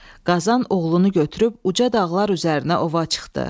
Qazan oğlunu götürüb uca dağlar üzərinə ova çıxdı.